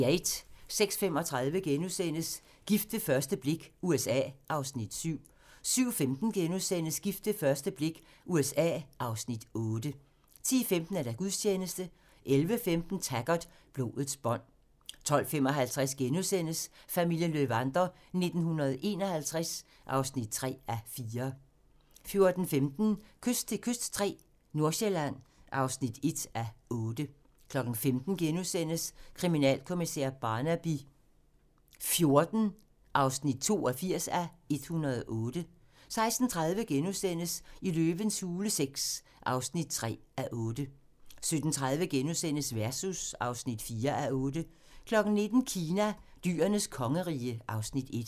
06:35: Gift ved første blik - USA (Afs. 7)* 07:15: Gift ved første blik - USA (Afs. 8)* 10:15: Gudstjeneste 11:15: Taggart: Blodets bånd 12:55: Familien Löwander 1951 (3:4)* 14:15: Kyst til kyst III - Nordsjælland (1:8) 15:00: Kriminalkommissær Barnaby XIV (82:108)* 16:30: Løvens hule VI (3:8)* 17:30: Versus (4:8)* 19:00: Kina: Dyrenes kongerige (Afs. 1)